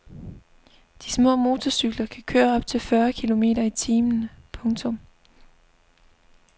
De små motorcykler kan køre op til fyrre kilometer i timen. punktum